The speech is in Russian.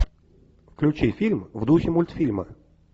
включи фильм в духе мультфильма